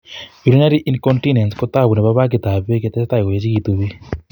Urinary incontinence ko tabu nebo baggit ab bek yo tesetai koechegitu bik